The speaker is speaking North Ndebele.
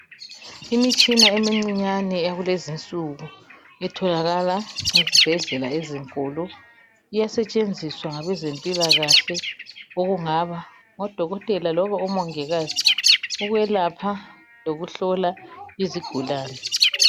Imitshina emincinyane yakulezinsuku itholakala ezibhedlela ezinkulu. Iyasetshenziswa ngabezempilakahle okungaba ngodokotela loba omongikazi ukwelapha lokuhlola izigulane.